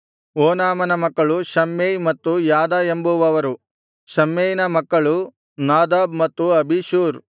ಓನಾಮನ ಮಕ್ಕಳು ಶಮ್ಮೈ ಮತ್ತು ಯಾದ ಎಂಬುವವರು ಶಮ್ಮೈನ ಮಕ್ಕಳು ನಾದಾಬ್ ಮತ್ತು ಅಬಿಷೂರ್